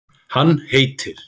Hann heitir